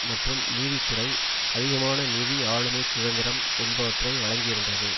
மற்றும் நீதித்துறை அதிகமான நிதி ஆழுமைச் சுதந்திரம் என்பவற்றை வழங்கியிருந்தது